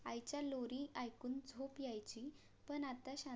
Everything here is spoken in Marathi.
आईचा लोरी ऎकून झोप यायची पण आता शांत